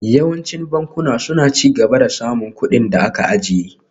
Yawancin bankuna suna ci gaba da samun kuɗin da aka ajiye